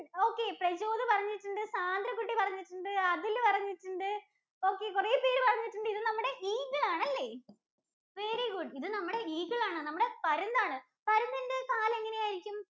okay Prajod പറഞ്ഞിട്ടുണ്ട്. സാന്ദ്രകുട്ടി പറഞ്ഞിട്ടുണ്ട്. അഖില്‍ പറഞ്ഞിട്ടുണ്ട് okay കുറെ പേര് പറഞ്ഞിട്ടുണ്ട്. ഇത് നമ്മുട Eagle ആണല്ലേ? very good ഇത് നമ്മുടെ Eagle ആണ് ഇത് നമ്മുടെ പരുന്ത് ആണ്. പരുന്തിന്‍റെ കാല് എങ്ങനെയായിരിക്കും?